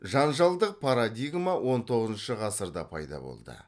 жанжалдық парадигма он тоғызыншы ғасырда пайда болды